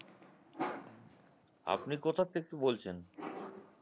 আপনি কোথার থেকে বলছেন?